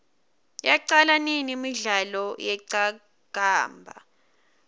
yaqala nini imidlalo yeqakamba